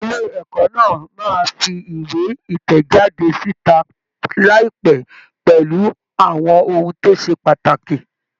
Ilé ẹ̀kọ́ náà máa fi ìwé ìtẹ̀jáde síta láìpẹ́ pẹ̀lú àwọn ohun tó ṣe pàtàkì.